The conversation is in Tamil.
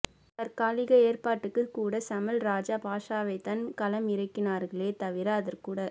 தற்காலிக ஏற்பாட்டுக்கு கூட சமல் ராஜபக்ஷவைதான் களம் இறக்கினார்களே தவிர அதற்குகூட